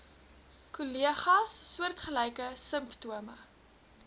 kollegas soortgelyke simptome